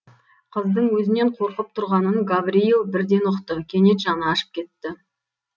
қыздың өзінен қорқып тұрғанын гаврийл бірден ұқты кенет жаны ашып кетті